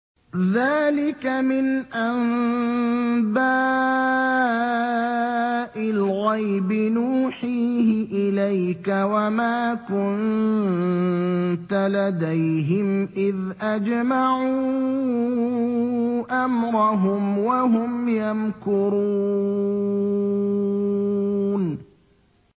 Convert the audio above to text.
ذَٰلِكَ مِنْ أَنبَاءِ الْغَيْبِ نُوحِيهِ إِلَيْكَ ۖ وَمَا كُنتَ لَدَيْهِمْ إِذْ أَجْمَعُوا أَمْرَهُمْ وَهُمْ يَمْكُرُونَ